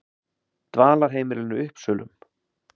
Dvalarheimilinu Uppsölum